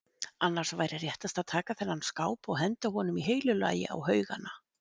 Annars væri réttast að taka þennan skáp og henda honum í heilu lagi á haugana.